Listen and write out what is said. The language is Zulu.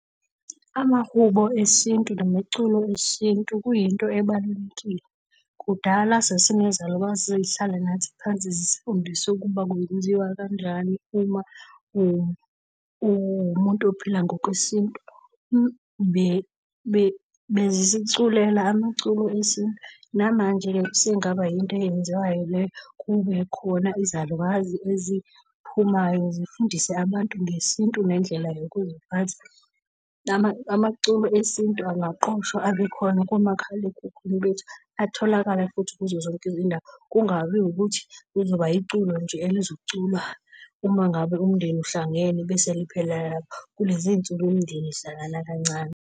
Amahubo esintu nomculo wesintu kuyinto ebalulekile. Kudala sasinezalukazi ezazihlala nathi phansi zifundise ukuba kwenziwa kanjani uma uwumuntu ophila ngokwesintu bezisiculela amaculo esintu. Namanje-ke kusengaba yinto eyenziwayo leyo, kube khona izalukazi eziphumayo zifundise abantu ngesintu nendlela yokuziphatha. Amaculo esintu angaqoshwa kube khona kumakhalekhukhwini bethu, atholakale futhi kuzo zonke izindawo. Kungabi ukuthi kuzoba iculo nje elizoculwa uma ngabe umndeni uhlangene bese liphelela lapho. Kulezinsuku, imindeni ihlangana kancane.